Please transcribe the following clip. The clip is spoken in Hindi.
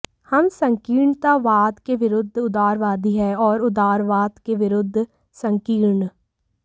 हम संकीर्णतावाद के विरुद्ध उदारवादी हैं और उदारवाद के विरुद्ध संकीर्ण